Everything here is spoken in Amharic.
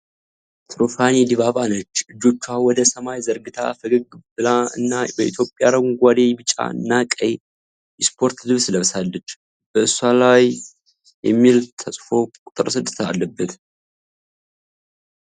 ትሩፋትን ዲባባ ነች። እጆቿን ወደ ሰማይ ዘርግታ፣ ፈገግ ብላ እና በኢትዮጵያ አረንጓዴ፣ ቢጫ እና ቀይ የስፖርት ልብስ ለብሳለች፣ በእሷ ላይ "DIBABA" የሚል ስም ተጽፎ ቁጥር 6 ተለጥፎላታል።